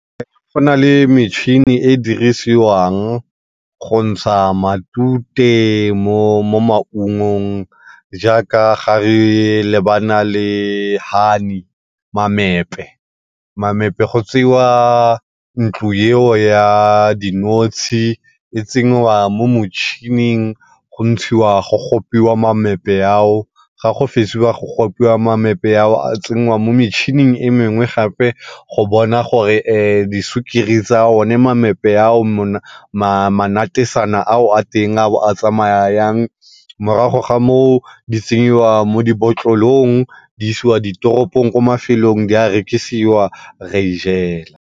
Go na le metšhini e e dirisiwang go ntsha matute mo, mo maungong jaaka ga re lebana le honey mamepe. Mamepe go tseiwa ntlo yeo ya dinotshe, e tsenyiwa mo motšhining go ntshiwa go gopiwa mamepe ao. Ga go fetsiwa go gopiwa mamepe ao a tsenngwa mo metšhining e mengwe gape go bona gore disukiri tsa one mamepe ao manatesana ao a teng a tsamaya yang morago ga moo di tsenyiwa mo di-bottle-ong di isiwa diteropong ko mafelong di a rekiwa re a ijela.